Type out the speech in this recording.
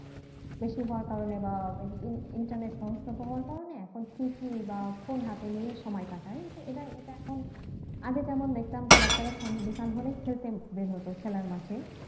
বেশি হওয়ার কারণে বা ওই internet হওয়ার কারনে এখন TV বা phone হাতে নিয়ে সময় কাটায় তো এটা এটা এখন আগে যেমন দেখতাম যে বাচ্চারা সন বিকাল হলেই খেলতে বের হতো খেলার মাঠে